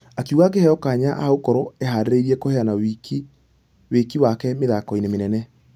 Akĩuga angĩheo kanya agũkorwo ĩharĩirie kũheana wĩki wake mĩthako-inĩ mĩnene.